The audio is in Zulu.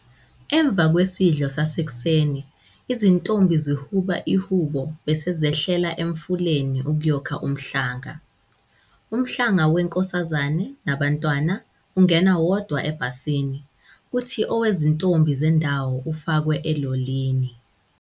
Emva kwesidlo sasekuseni izintombi zihuba ihubo bese zehlela Emfuleni ukuyokha Umhlanga. Umhlanga weNkosazane nabaNtwana ungena wodwa ebhasini, kuthi owezintombi zendawo ufakwe elolini.